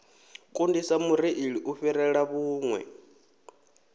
kundisa mureili u fhirela vhuṋwe